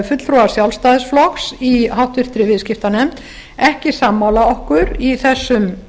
fulltrúar sjálfstæðisflokks í háttvirtri viðskiptanefnd ekki sammála okkur í þessum